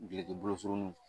Duloki bolo surunninw